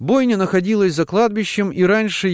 бойня находилась за кладбищем и раньше